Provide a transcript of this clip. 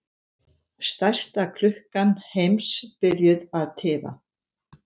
Stærsta klukkan heims byrjuð að tifa